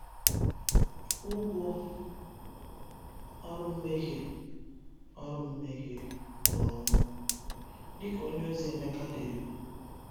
“Ụgwọ ọrụ mmehie ọrụ mmehie bụ ọnwụ,” dika onye ozi Emeka dere.